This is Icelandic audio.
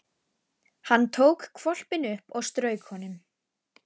Hann tók hvolpinn upp og strauk honum.